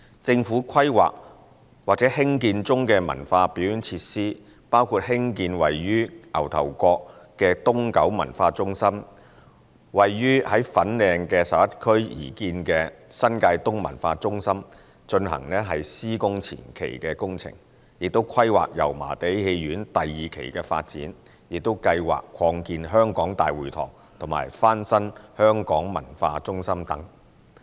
政府規劃或興建中的文化表演設施，包括興建位於牛頭角的東九文化中心、為位於粉嶺11區的新界東文化中心進行施工前期工序，規劃油麻地戲院第二期的發展，以及計劃擴建香港大會堂及翻新香港文化中心等。